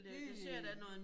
Det